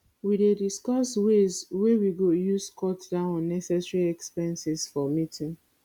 we dey discuss ways wey we go use cut down unnecessary expenses for meeting